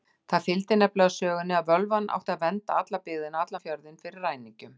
Það fylgdi nefnilega sögunni að völvan átti að vernda alla byggðina, allan fjörðinn, fyrir ræningjum.